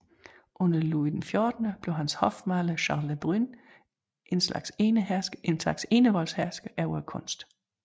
Under Louis XIV blev hans hofmaler Charles Le Brun en slags enevoldshersker over kunsten